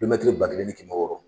Kilomɛtiri ba kelen ani kɛmɛ wɔɔrɔ